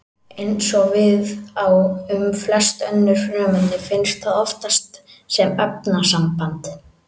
Eins og við á um flest önnur frumefni finnst það oftast sem efnasamband.